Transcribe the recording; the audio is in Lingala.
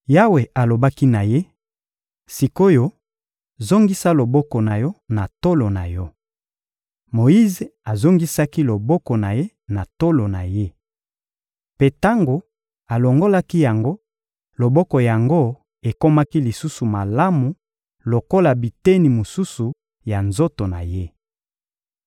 Yawe alobaki na ye: — Sik’oyo, zongisa loboko na yo na tolo na yo. Moyize azongisaki loboko na ye na tolo na ye. Mpe tango alongolaki yango, loboko yango ekomaki lisusu malamu lokola biteni mosusu ya nzoto na ye.